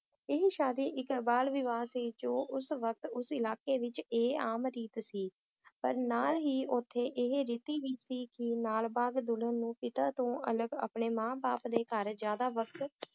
ਏਹੀ ਸ਼ਾਦੀ ਇਕ ਬਾਲ ਵਿਵਾਹ ਸੀ ਜੋ ਉਸ ਵਕਤ ਉਸ ਇਲਾਕੇ ਵਿਚ ਇਹ ਆਮ ਰੀਤ ਸੀ ਪਰ ਨਾਲ ਹੀ ਓਥੇ ਇਹ ਰੀਤੀ ਵੀ ਸੀ ਕਿ ਨਾਲਬਾਗ ਦੁਲਹਨ ਨੂੰ ਪਿਤਾ ਤੋਂ ਅਲਗ ਆਪਣੇ ਮਾਂ ਬਾਪ ਦੇ ਘਰ ਜ਼ਿਆਦਾ ਵਕਤ